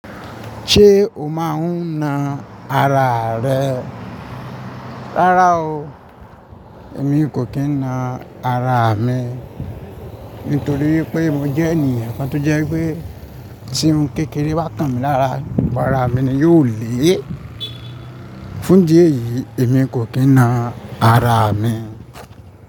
Ṣé o máa ń na ara rẹ? Rárá o, èmi kò kí ń na ara mi. Nítorí wípé mo jẹ́ ènìyàn kan to jẹ́ wípé tí ohun kékeré bá kan mi lára, ara mi ni yóò le. Fún díè yìí, èmi kò kí na ara mi.